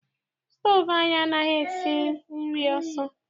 Stoovu anyị anaghị esi nri ọsọ.